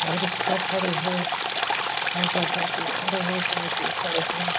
अउ रिक्शा खड़े हे मोटरसाइकिल खड़े हे साइकिल खड़े हे।